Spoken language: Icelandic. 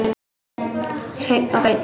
Hreinn og beinn.